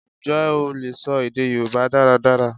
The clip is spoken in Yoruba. Ǹjẹ́ o lè sọ èdè Yorùbá dáradára?